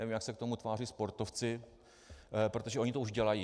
Nevím, jak se na to tváří sportovci, protože oni to už udělají.